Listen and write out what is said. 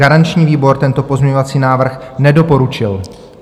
Garanční výbor tento pozměňovací návrh nedoporučil.